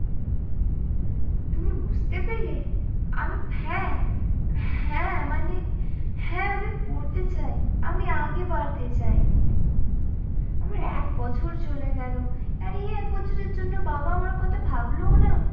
তুমি বুঝতে পেলে আমি হ্যাঁ হ্যাঁ মানে হ্যাঁ আমি পড়তে চাই আমি আগে বাড়তে চাই। আমার এক বছর চলে গেল আর এই এক বছরের জন্য বাবা আমার কথা ভাবলোও না।